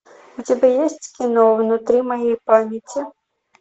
у тебя есть кино внутри моей памяти